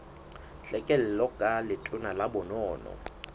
tlhekelo ka letona la bonono